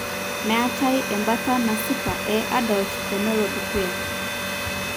meetae embata nasipa e adult Aml tenelo dukya.